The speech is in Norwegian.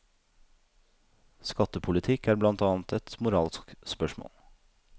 Skattepolitikk er blant annet et moralsk spørsmål.